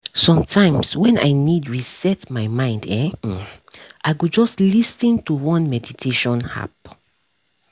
sometimes when i need reset my mind[um][um] i go just lis ten to one meditation app